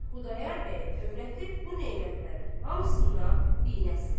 Xudayar bəyin övrəti bu nemətlərin hamısından binəsibdir.